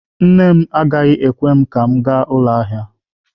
Nne m agaghị ekwe ka m gaa ụlọ ahịa.